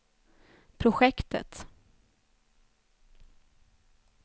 projektet